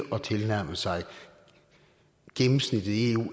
at tilnærme sig gennemsnittet i eu